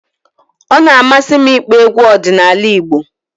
Ọ na-amasị m ịkpọ egwu ọdịnala Igbo